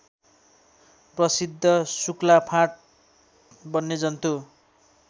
प्रसिद्ध शुक्लाफाँट वन्यजन्तु